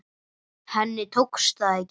Henni tókst það ekki.